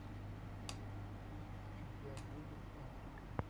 у тебя будет африка